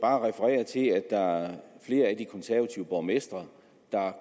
bare referere til at der er flere af de konservative borgmestre der